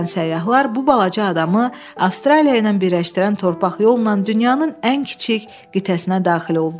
Birazdan səyyahlar bu balaca adanı Avstraliya ilə birləşdirən torpaq yolla dünyanın ən kiçik qitəsinə daxil oldular.